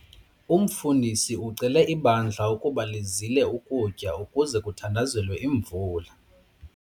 Umfundisi ucele ibandla ukuba lizile ukutya ukuze kuthandazelwe imvula.